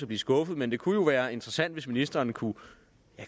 blive skuffet men det kunne være interessant hvis ministeren kunne